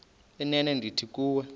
inene ndithi kuwe